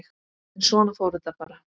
En svona fór þetta bara.